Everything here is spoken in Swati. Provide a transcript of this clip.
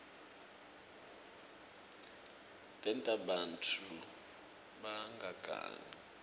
tenta bantfu bangagangi